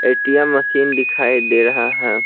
ATM machine दिखाई दे रहा है।